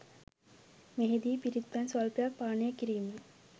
මෙහිදී පිරිත් පැන් ස්වල්පයක් පානය කිරීම